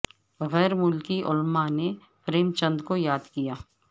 غیر ملکی علماء نے پریم چند کو یاد کیا